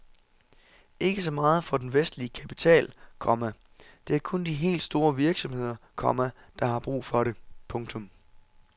Ikke så meget for den vestlige kapital, komma det er kun de helt store virksomheder, komma der har brug for det. punktum